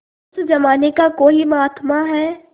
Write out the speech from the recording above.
उस जमाने का कोई महात्मा है